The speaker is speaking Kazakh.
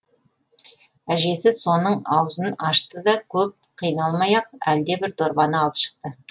әжесі соның аузын ашты да көп қиналмай ақ әлдебір дорбаны алып шықты